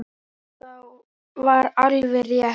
Og það var alveg rétt.